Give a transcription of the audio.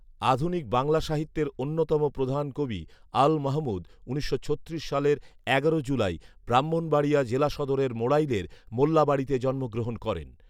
আধুনিক বাংলা সাহিত্যের অন্যতম প্রধান কবি আল মাহমুদ উনিশশো ছত্রিশ সালের এগারো জুলাই ব্রাহ্মণবাড়িয়া জেলা সদরের মোড়াইলের মোল্লাবাড়িতে জন্মগ্রহণ করেন